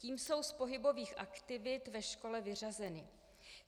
Tím jsou z pohybových aktivit ve škole vyřazeny.